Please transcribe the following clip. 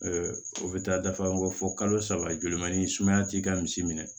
o bɛ taa dafa an kɔ fo kalo saba joli man di sumaya t'i ka misi minɛ